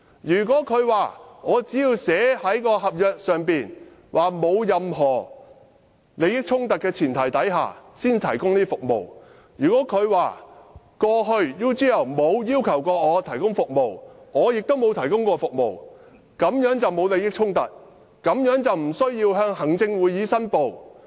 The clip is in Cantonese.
梁振英聲稱："我在合約內訂明，在沒有任何利益衝突的前提下才提供這些服務；過去 UGL 從來沒有要求我提供服務，我也從來沒有提供服務，所以沒有利益衝突，也無須向行政會議申報。